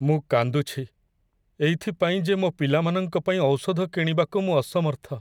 ମୁଁ କାନ୍ଦୁଛି, ଏଇଥି ପାଇଁ ଯେ ମୋ ପିଲାମାନଙ୍କ ପାଇଁ ଔଷଧ କିଣିବାକୁ ମୁଁ ଅସମର୍ଥ।